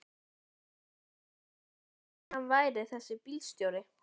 Hvað hélt hann eiginlega að hann væri þessi bílstjóri.